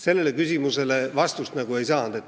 Sellele küsimusele vastust ei saanud.